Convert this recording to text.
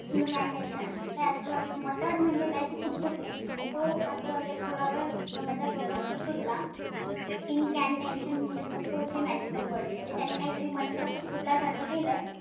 Incantations the astrologer muttered म्हणजे काय पुट्पुने. तो astrologer थोडावेळ तोंडातल्या तोंडात पुटपुटला. incantations म्हणजे supposedly magical words म्हणजे त्याने काहीतरी मंत्र पुटपुटल्यासारखं केलं.